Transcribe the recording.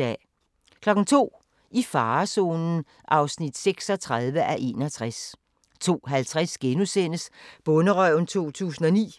02:00: I farezonen (36:61) 02:50: Bonderøven 2009